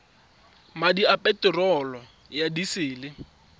madi a peterolo ya disele